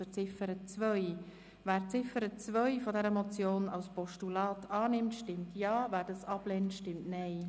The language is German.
Wer die Ziffer 2 dieser Motion als Postulat annimmt, stimmt Ja, wer dies ablehnt, stimmt Nein.